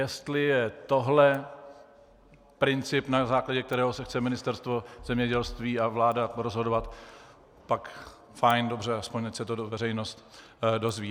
Jestli je tohle princip, na základě kterého se chce Ministerstvo zemědělství a vláda rozhodovat, pak fajn, dobře, aspoň ať se to veřejnost dozví.